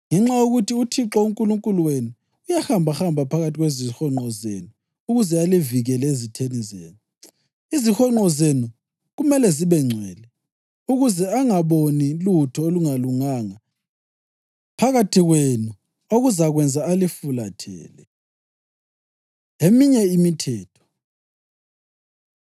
Ngenxa yokuthi uThixo uNkulunkulu wenu uyahambahamba phakathi kwezihonqo zenu ukuze alivikele ezitheni zenu. Izihonqo zenu kumele zibengcwele, ukuze angaboni lutho olungalunganga phakathi kwenu okuzakwenza alifulathele.” Eminye Imithetho